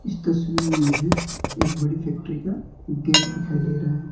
इस तस्वीर में मुझे एक बड़ी फैक्ट्री का गेट दिखाई दे रहा है।